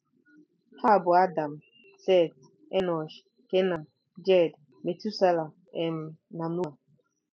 Ha bụ Adam, Set, Enọsh, Kenan, Jared, Metusela um, na Noa.